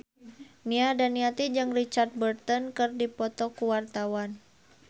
Nia Daniati jeung Richard Burton keur dipoto ku wartawan